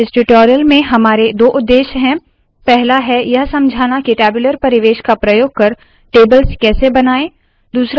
इस ट्यूटोरियल में हमारे दो उद्देश्य है पहला है यह समझाना के टैब्यूलर परिवेश का प्रयोग कर टेबल्स कैसे बनाए